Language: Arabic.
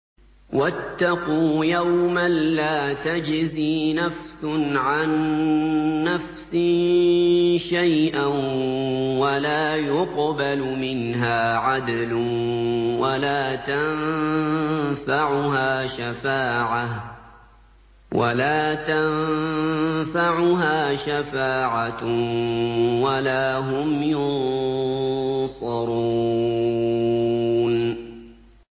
وَاتَّقُوا يَوْمًا لَّا تَجْزِي نَفْسٌ عَن نَّفْسٍ شَيْئًا وَلَا يُقْبَلُ مِنْهَا عَدْلٌ وَلَا تَنفَعُهَا شَفَاعَةٌ وَلَا هُمْ يُنصَرُونَ